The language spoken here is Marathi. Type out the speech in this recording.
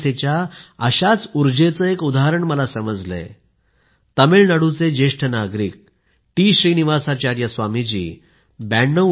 जिज्ञासेच्या अशाच ऊर्जेचे एक उदाहरण मला समजलंय तामिळनाडूचे ज्येष्ठ नागरिक टी श्रीनिवासाचार्य स्वामी जी यांच्याविषयी